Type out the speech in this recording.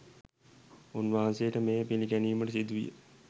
උන්වහන්සේට මෙය පිළිගැනීමට සිදු විය.